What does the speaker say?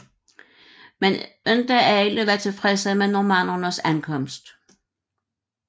Men ikke alle var tilfredse med normannernes ankomst